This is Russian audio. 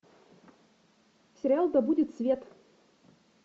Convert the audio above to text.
сериал да будет свет